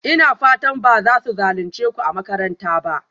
Ina fatan ba za su zalunce ku a makaranta ba?